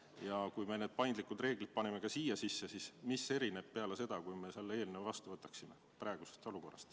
Ja kui me need paindlikud reeglid siia sisse paneksime, siis mis oleks praegusest olukorrast erinev peale seda, kui me selle eelnõu vastu võtame?